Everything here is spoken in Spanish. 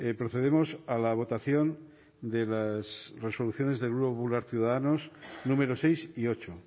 procedemos a la votación de las resoluciones del grupo popular ciudadanos números seis y ocho